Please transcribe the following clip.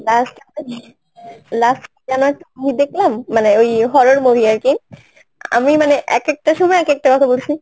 last, last কি যেন একটা ছবি দেখলাম মানে ওই horror movie আরকি আমি মানে এক একটা সময় এক একটা কথা বলছি